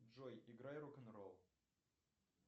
джой играй рок н ролл